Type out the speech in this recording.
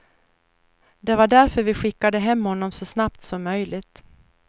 Det var därför vi skickade hem honom så snabbt som möjligt.